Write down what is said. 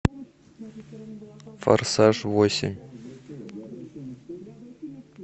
форсаж восемь